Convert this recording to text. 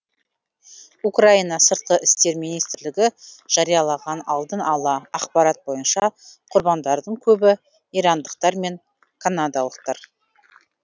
украина сыртқы істер министрлігі жариялаған алдын ала ақпарат бойынша құрбандардың көбі ирандықтар мен канадалықтар